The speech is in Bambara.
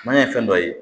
Maɲan ye fɛn dɔ ye